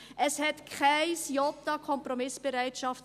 » Es gab kein Jota an Kompromissbereitschaft.